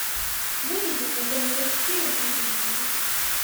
выведи мне тнт четыре на телевизоре